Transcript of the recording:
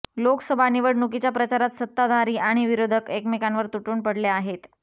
लोकसभा निवडणुकीच्या प्रचारात सत्ताधारी आणि विरोधक एकमेकांवर तुटून पडले आहेत